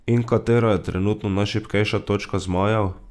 In katera je trenutno najšibkejša točka zmajev?